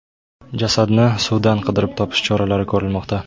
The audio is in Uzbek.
Jasadni suvdan qidirib topish choralari ko‘rilmoqda.